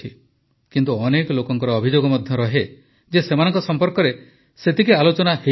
କିନ୍ତୁ ଅନେକ ଲୋକଙ୍କ ଅଭିଯୋଗ ମଧ୍ୟ ରହେ ଯେ ସେମାନଙ୍କ ସମ୍ପର୍କରେ ସେତେଟା ଆଲୋଚନା ହୋଇପାରେ ନାହିଁ